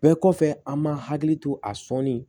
Bɛɛ kɔfɛ an man hakili to a sɔnni